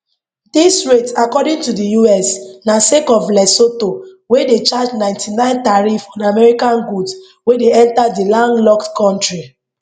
dis rate according to di us na sake of lesotho wey dey charge 99 tariff on american goods wey dey enta di landlocked kontri